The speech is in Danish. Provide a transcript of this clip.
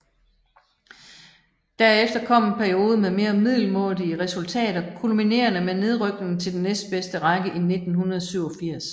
Derefter kom en periode med mere middelmådige resultater kulminerende med nedrykningen til den næstbedste række i 1987